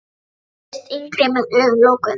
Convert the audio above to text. Hann virtist yngri með augun lokuð.